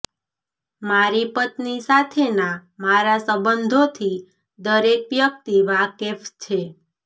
મારી પત્ની સાથેના મારા સંબંધોથી દરેક વ્યક્તિ વાકેફ છે